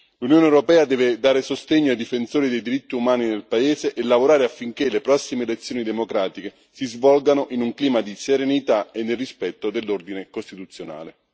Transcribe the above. L'Unione europea deve dare sostegno ai difensori dei diritti umani nel paese e lavorare affinché le prossime elezioni democratiche si svolgano in un clima di serenità e nel rispetto dell'ordine costituzionale.